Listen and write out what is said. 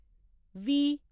वी